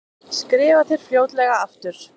Skrifa þér fljótlega aftur.